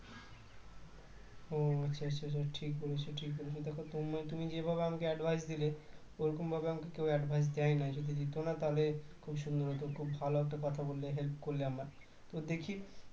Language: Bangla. ও আচ্ছা আচ্ছা আচ্ছা ঠিক বলেছো ঠিক বলেছো দেখো তু~ তুমি যেভাবে আমাকে advice দিলে ওরকমভাবে আমাকে কেউ advice দেয়নি যদি দিত না তাহলে খুব সুন্দর খুব ভাল একটা কথা বলে হেল্প করলে আমার তো দেখি